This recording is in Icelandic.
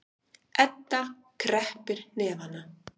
Edda kreppir hnefana.